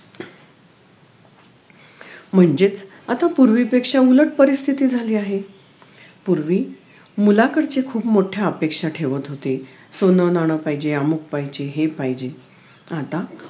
म्हणजेच आता पूर्वीपेक्षा उलट परिस्थिती झाली आहे पूर्वी मुलाकडच्या खूप मोठ्या अपेक्षा ठेवत होते सोनंनाणं पाहिजे अमुख पाहिजे हे पाहिजे आता